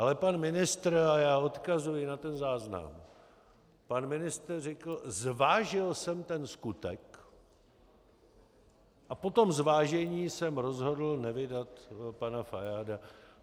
Ale pan ministr, a já odkazuji na ten záznam, pan ministr řekl: "Zvážil jsem ten skutek a po tom zvážení jsem rozhodl nevydat pana Fajáda."